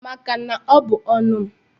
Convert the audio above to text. Maka na ọ bụ ọnu m.